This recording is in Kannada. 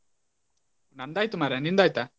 ನಂದಾಯ್ತು ಮಾರ್ರೆ, ನಿಂದಾಯ್ತಾ?